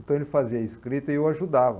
Então ele fazia escrita e eu ajudava.